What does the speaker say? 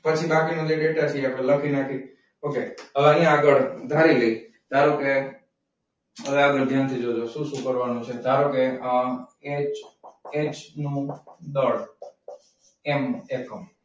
પછી બાકીનું જે છે એ આપણે લખી નાખીશું. okay હવે એની આગળ ધારી લઈએ ધારો કે, આપણે ધ્યાનથી જોઈ લઈએ શું કરવાનું છે? ધારો કે, અમ HH નું દળ એનો એકમ.